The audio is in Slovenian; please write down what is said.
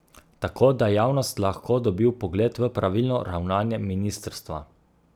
Tako da javnost lahko dobi vpogled v pravilno ravnanje ministrstva.